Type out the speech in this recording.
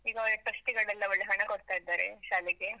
ಈಗ ಅವರ trusty ಗಳೆಲ್ಲಾ ಒಳ್ಳೆ ಹಣ ಕೊಡ್ತಿದ್ದಾರೆ, ಶಾಲೆಗೇ.